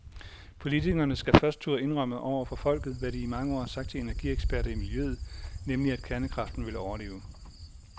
Politikerne skal først turde indrømme over for folket, hvad de i mange år har sagt til energieksperter i miljøet, nemlig at kernekraften vil overleve.